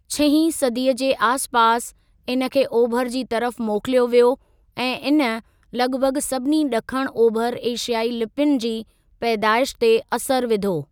छहीं सदीअ जे आसिपासि, इन खे ओभर जी तरफ़ मोकिलियो वियो ऐं इन लॻभॻ सभिनी ॾखण ओभर एशियाई लिपियुनि जी पैदाइश ते असर विधो।